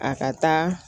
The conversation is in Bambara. A ka taa